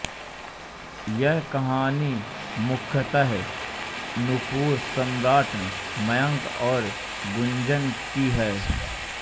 यह कहानी मुख्यतः नूपुर सम्राट मयंक और गुंजन की है